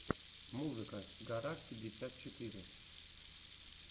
музыка гараж пятьдесят четыре